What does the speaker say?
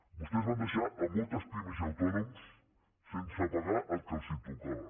vostès van deixar a moltes pimes i autònoms sense pagar el que els tocava